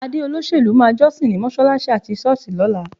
Adé olóṣèlú máa jọ́sìn ní mọ́ṣáláṣí àti ṣọ́ọ̀ṣì lọ́la.